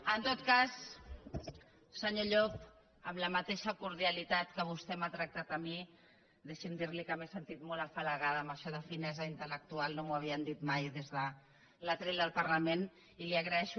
en tot cas senyor llop amb la mateixa cordialitat que vostè m’ha tractat a mi deixi’m dir li que m’he sentit molt afalagada amb això de finesa intel·lectual no m’ho havien dit mai des del faristol del parlament i li ho agraeixo